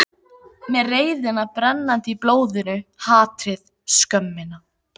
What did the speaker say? Með reiðina brennandi í blóðinu, hatrið, skömmina.